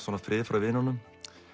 frið frá vinunum